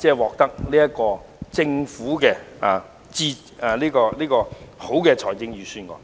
受惠於政府這份理想的預算案。